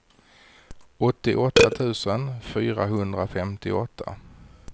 åttioåtta tusen fyrahundrafemtioåtta